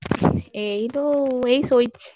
ଏଇ ଯୋଉ ଏଇ ଶୋଇଛି।